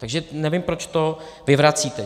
Takže nevím, proč to vyvracíte.